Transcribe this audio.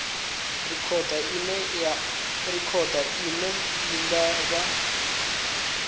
rekhodo ine i nga vha